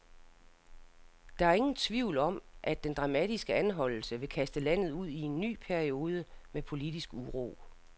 Der er ingen tvivl om, at den dramatiske anholdelse vil kaste landet ud i en ny periode med politisk uro.